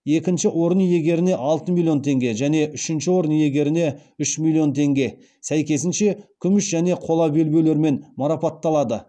екінші орын иегеріне алты миллион теңге және үшінші орын иегеріне үш миллион теңге сәйкесінше күміс және қола белбеулермен марапатталады